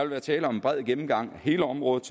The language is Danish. være tale om en bred gennemgang af hele området